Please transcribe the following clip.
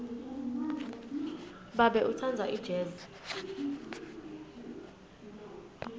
babe utsandza ijezi